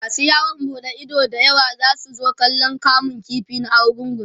masu yawon buɗe Ido da yawa zasu zo kallan kamun ƙifi na argungu